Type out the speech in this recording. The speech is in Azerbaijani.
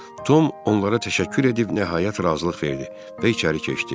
Tom onlara təşəkkür edib nəhayət razılıq verdi və içəri keçdi.